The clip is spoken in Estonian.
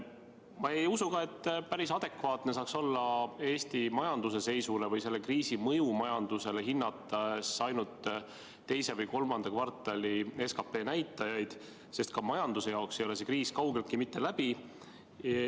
Ma ei usu ka, et päris adekvaatne saaks olla Eesti majanduse seisu või selle kriisi mõju majandusele hinnates see, kui vaadata ainult teise või kolmanda kvartali SKP näitajaid, sest ka majanduses ei ole see kriis kaugeltki mitte läbi.